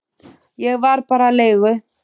Ég var bara leigu